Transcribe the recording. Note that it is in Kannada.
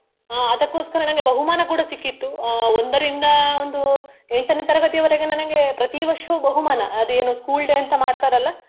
ಅಹ್ ಅದ್ಕೊಸ್ಕರ ನನ್ಗೆ ಬಹುಮಾನ ಕೂಡಾ ಸಿಕ್ಕಿತ್ತು ಅಹ್ ಒಂದರಿಂದ ಒಂದು ಎಂಟನೇ ತರಗತಿಯವರೆಗೆ ನನಗೆ ಪ್ರತಿ ವರ್ಷವು ಬಹುಮಾನ ಅದು ಏನು school day ಅಂತ ಮಾಡ್ತಾರಲ್ಲ.